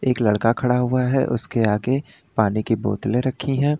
एक लड़का खड़ा हुआ है उसके आगे पानी की बोतल रखी है।